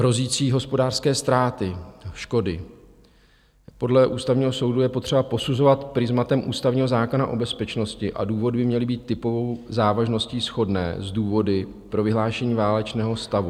Hrozící hospodářské ztráty, škody podle Ústavního soudu je potřeba posuzovat prizmatem Ústavního zákona o bezpečnosti a důvody by měly být typovou závažností shodné s důvody pro vyhlášení válečného stavu.